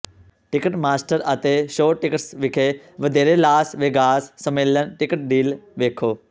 ticket master ਅਤੇ Showtix ਵਿਖੇ ਵਧੇਰੇ ਲਾਸ ਵੇਗਾਸ ਸੰਮੇਲਨ ਟਿਕਟ ਡੀਲ ਵੇਖੋ